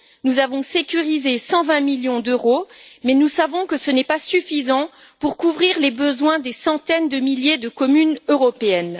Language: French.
Nous avons sécurisé 120 millions d'euros, mais nous savons que ce n'est pas suffisant pour couvrir les besoins des centaines de milliers de communes européennes.